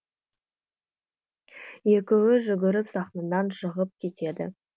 екеуі жүгіріп сахнадан шығып кетеді